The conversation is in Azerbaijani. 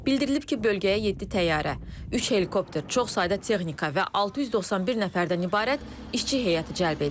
Bildirilib ki, bölgəyə yeddi təyyarə, üç helikopter, çox sayda texnika və 691 nəfərdən ibarət işçi heyəti cəlb edilib.